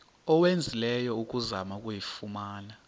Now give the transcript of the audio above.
owenzileyo ukuzama ukuyifumana